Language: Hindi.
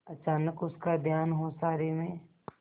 अचानक उसका ध्यान ओसारे में